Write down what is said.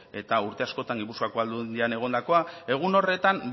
eta urte askotan gipuzkoako aldundian egondakoa egun horretan